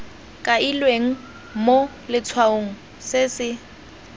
kailweng mo letshwaong se se